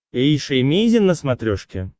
эйша эмейзин на смотрешке